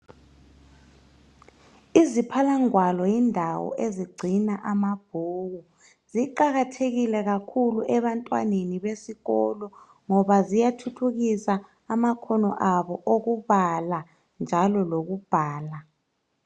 Iziphala ngwalo yindawo ezigcina amabhuku .Ziqakathekile kakhulu ebantwaneni besikolo .Ngoba ziyathuthukisa amakhono abo okubala. Njalo lokubhala .